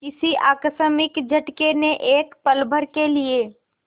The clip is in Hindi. किसी आकस्मिक झटके ने एक पलभर के लिए